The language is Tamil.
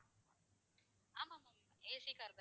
ஆமா ma'am AC car தான் ma'am